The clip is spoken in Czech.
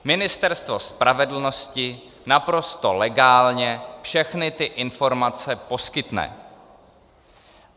Ministerstvo spravedlnosti naprosto legálně všechny ty informace poskytne.